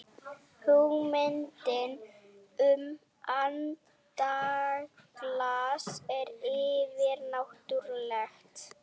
hugmyndin um andaglas er yfirnáttúrleg